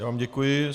Já vám děkuji.